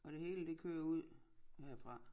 Og det hele det kører ud herfra